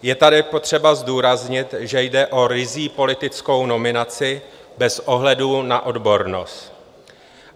Je tady potřeba zdůraznit, že jde o ryzí politickou nominaci bez ohledu na odbornost.